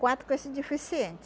Quatro com esse deficiente.